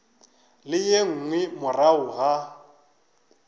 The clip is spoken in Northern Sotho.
le ye nngwe morago ga